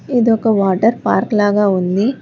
ఇదొక water park లాగా ఉంది.